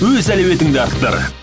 өз әлеуетіңді арттыр